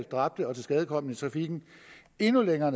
dræbte og tilskadekomne i trafikken endnu længere